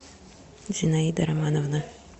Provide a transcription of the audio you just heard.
зинаида романовна